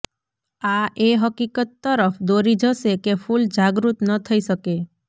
આ એ હકીકત તરફ દોરી જશે કે ફૂલ જાગૃત ન થઈ શકે